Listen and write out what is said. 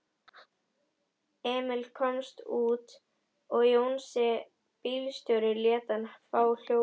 Emil komst út og Jónsi bílstjóri lét hann fá hjólið.